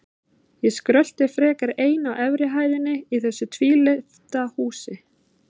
Ég skrölti frekar ein á efri hæðinni í þessu tvílyfta húsi.